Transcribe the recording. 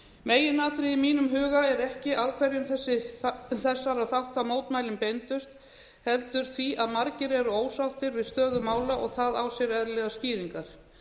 meginatriðið í mínum huga er ekki að hverjum þessara þátta mótmælin beindust heldur því að margir eru ósáttir við stöðu mála og það á sér eðlilegar skýringar